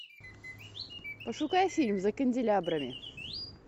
пошукай фильм за канделябрами